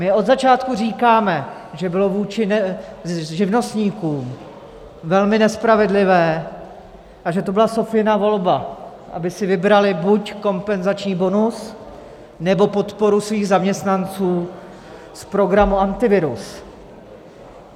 My od začátku říkáme, že bylo vůči živnostníkům velmi nespravedlivé a že to byla Sofiina volba, aby si vybrali buď kompenzační bonus, nebo podporu svých zaměstnanců z programu Antivirus.